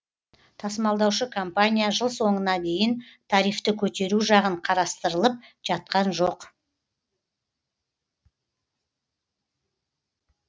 тасымалдаушы компания жыл соңына дейін тарифті көтеру жағын қарасытырылып жатқан жоқ